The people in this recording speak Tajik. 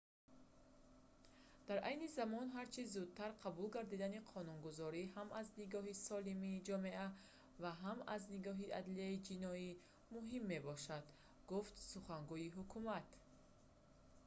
дар айни замон ҳар чӣ зудтар қабул гардидани қонунгузорӣ ҳам аз нигоҳи солимии ҷомеа ва ҳам аз нигоҳи адлияи ҷиноӣ муҳим мебошад» гуфт сухангӯи ҳукумат